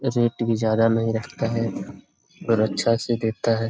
Rate भी ज्यादा नहीं रखता है पर अच्छा से देता है।